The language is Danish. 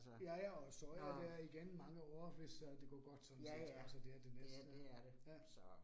Ja ja, og så er der igen mange år, hvis øh det går godt sådan set, altså det er det næste. Ja